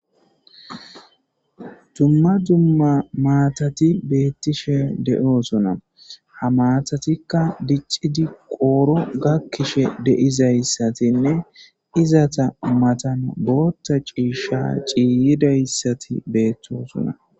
Dumma dumma maatati beettishe de'oosona ha maatatikka diccidi qooro gakkishe de'izayssatinne izata matan booththa ciishsha ciiyidayssati beettoosona